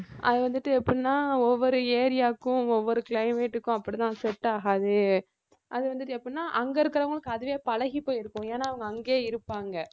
அது வந்துட்டு எப்படின்னா ஒவ்வொரு area க்கும் ஒவ்வொரு climate க்கும் அப்படிதான் set ஆகாது அது வந்துட்டு எப்படின்னா அங்க இருக்கிறவங்களுக்கு அதுவே பழகிப் போயிருக்கும் ஏன்னா அவங்க அங்கேயே இருப்பாங்க